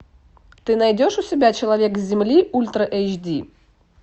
ты найдешь у себя человек с земли ультра эйч ди